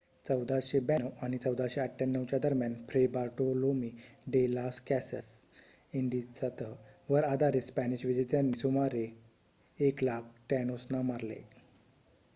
1492 आणि 1498 च्या दरम्यान Fray Bartolome de las Casas इंडीजचा तह वर आधारित स्पॅनिश विजेत्यांनी सुमारे 100,000 टॅनोसना मारले